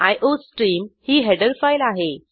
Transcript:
iostream ही header file आहे